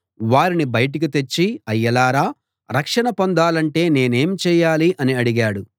వారిని బయటికి తెచ్చి అయ్యలారా రక్షణ పొందాలంటే నేనేమి చేయాలి అని అడిగాడు